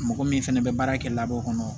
Mɔgɔ min fɛnɛ bɛ baara kɛ labɔ kɔnɔ